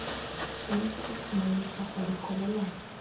tshwanetse go tlhomamisa gore kwalelano